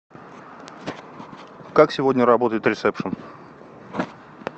как сегодня работает ресепшен